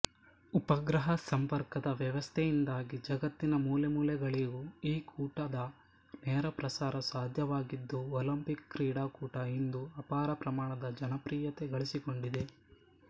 ಉಪಗ್ರಹ ಸಂಪರ್ಕದ ವ್ಯವಸ್ಥೆಯಿಂದಾಗಿ ಜಗತ್ತಿನ ಮೂಲೆಮೂಲೆಗಳಿಗೂ ಈ ಕೂಟದ ನೇರಪ್ರಸಾರ ಸಾಧ್ಯವಾಗಿದ್ದು ಒಲಿಂಪಿಕ್ ಕ್ರೀಡಾಕೂಟ ಇಂದು ಅಪಾರಪ್ರಮಾಣದ ಜನಪ್ರಿಯತೆ ಗಳಿಸಿಕೊಂಡಿದೆ